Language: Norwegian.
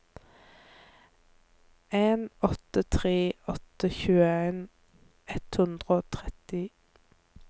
en åtte tre åtte tjueen ett hundre og tretti